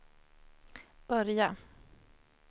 börja